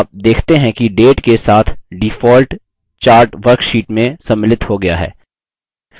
आप देखते हैं कि data के साथ default chart worksheet में सम्मिलित हो गया है